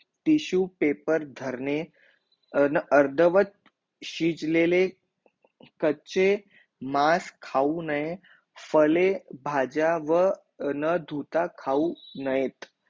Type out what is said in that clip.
तीसु paper धरणे न अर्धवट सीच लेले कचे मास काव नाहे फले भाजावा न धुता खाव नाहेत